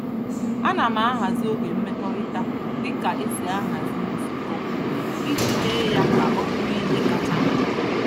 Ana m ahazi oge mmekọrịta dị ka e si ahazi nzukọ iji mee ya ka ọ bụrụ ihe kacha mkpa.